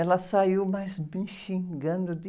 Ela saiu, mas me xingando de...